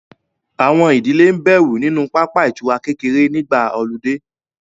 Àwọn ìdílé ń bẹ̀rù nínú pápá ìtura kékeré nígbà ọludé